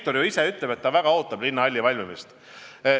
Nad ju ise ütlevad, et ootavad väga linnahalli valmimist.